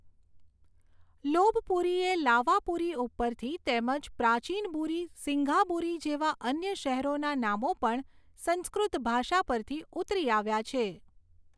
Lopburi એ Lavapuri ઉપરથી તેમજ પ્રાચીનબુરી સીંઘાબુરી જેવા અન્ય શહેરોના નામો પણ સંસ્કૃત ભાષા પરથી ઉતરી આવ્યા છે.